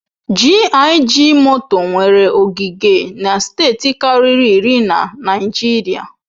GIG moto nwere ogige na steeti karịri iri na Naịjirịa.